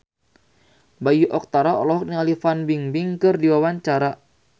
Bayu Octara olohok ningali Fan Bingbing keur diwawancara